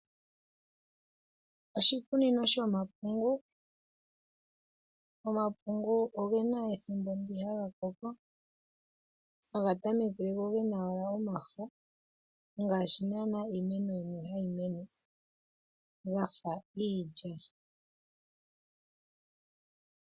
Oshikunino shomapungu, omapungu ogena ethimbo ndi haga koko haga tameke gena omafo ngashi nana iimeno yimwe hayi mene gafa iilya.